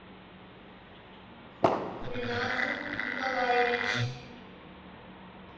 гульназ николаевич